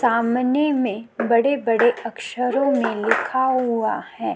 सामने में बड़े-बड़े अक्षरों में लिखा हुआ है।